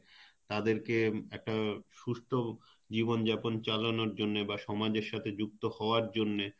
তাদের কে একটা সুস্থ জীবন যাপন চালানোর জন্যে বা সমাজের সাথে যুক্ত হওয়ার জন্যে